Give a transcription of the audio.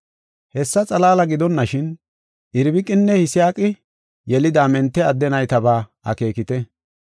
Hessa xalaala gidonashin, Irbiqinne Yisaaqi yelida mente adde naytabaa akeekite.